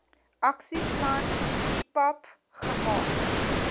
aksieplan ipap gemaak